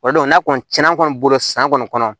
Walidenw n'a kɔni cɛna an kɔni bolo san kɔni kɔnɔ